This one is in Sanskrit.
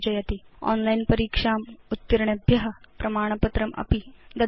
ओनलाइन् परीक्षाम् उत्तीर्णेभ्य प्रमाणपत्रमपि ददाति